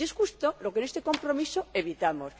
Y es justo lo que en este compromiso evitamos.